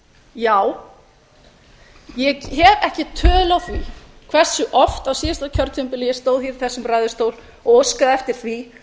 já ég hef ekki tölu á því hversu oft á síðasta kjörtímabili ég stóð í þessum ræðustól og óskaði eftir því